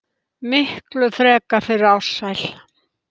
Miklu frekar fyrir Ársæl.